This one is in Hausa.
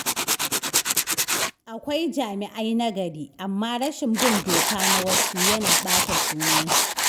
Akwai jami’ai nagari, amma rashin bin doka na wasu yana ɓata sunan su.